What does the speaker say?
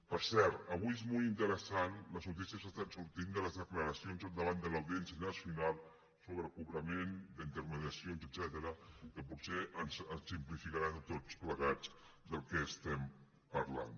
per cert avui són molt interessants les notícies que estan sortint de les declaracions davant de l’audiència nacional sobre cobrament d’intermediacions etcètera que potser ens simplificaran a tots plegats del que estem parlant